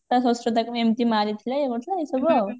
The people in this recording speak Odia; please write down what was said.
ତା ଶଶୁର ତାକୁ ଏମତି ମାରିଥିଲେ ଇଏ କରିଥିଲେ ଏମତି ସବୁ ଆଉ